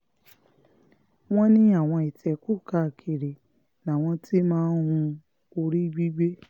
wọ́n ní àwọn ìtẹ́kùú káàkiri làwọn ti máa ń hu orí gbígbé